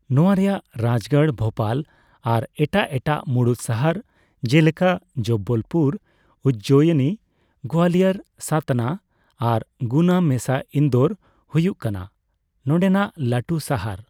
ᱱᱚᱣᱟ ᱨᱮᱭᱟᱜ ᱨᱟᱡᱜᱟᱲ ᱵᱷᱳᱯᱟᱞ, ᱟᱨ ᱮᱴᱟᱜ ᱮᱴᱟᱜ ᱢᱩᱲᱩᱫ ᱥᱟᱦᱟᱨ ᱡᱮᱞᱮᱠᱟ ᱡᱚᱵᱵᱚᱞᱯᱩᱨ, ᱩᱡᱡᱚᱭᱤᱱᱤ, ᱜᱳᱭᱟᱞᱤᱭᱚᱨ, ᱥᱟᱛᱱᱟ ᱟᱨ ᱜᱩᱱᱟ ᱢᱮᱥᱟ ᱤᱱᱫᱳᱨ ᱦᱩᱭᱩᱜ ᱠᱟᱱᱟ ᱱᱚᱰᱮᱱᱟᱜ ᱞᱟᱴᱩ ᱥᱟᱦᱟᱨ ᱾